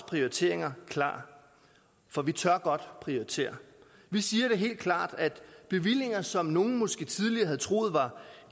prioriteringer klar for vi tør godt prioritere vi siger helt klart at bevillinger som nogle måske tidligere havde troet var